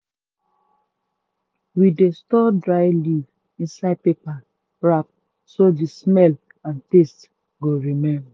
we dey store dry leaf inside paper wrap so the smell and taste go remain. um